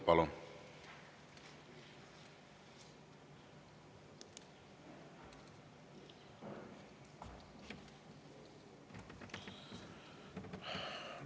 Palun!